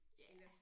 Ja